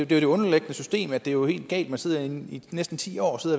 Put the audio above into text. det underliggende system at det jo er helt galt at man sidder i næsten ti år og